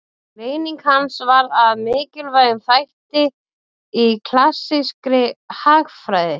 Greining hans varð að mikilvægum þætti í klassískri hagfræði.